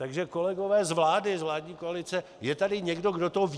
Takže kolegové z vlády, z vládní koalice, je tady někdo, kdo to ví?